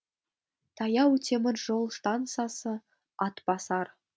таяу темір жол стансасы атбасар